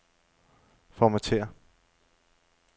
Formatér.